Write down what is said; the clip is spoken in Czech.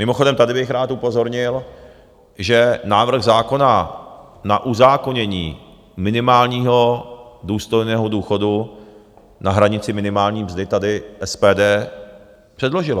Mimochodem tady bych rád upozornil, že návrh zákona na uzákonění minimálního důstojného důchodu na hranici minimální mzdy tady SPD předložilo.